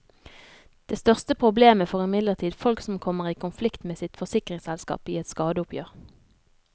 Det største problemet får imidlertid folk som kommer i konflikt med sitt forsikringsselskap i et skadeoppgjør.